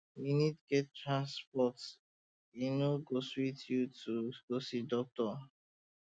if you no get transport e no go sweet you to go see doctor